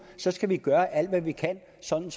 skal gøre alt hvad vi kan sådan